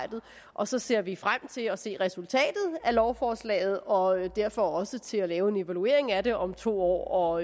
og så ser vi frem til at se resultatet af lovforslaget og derfor også til at lave en evaluering af det om to år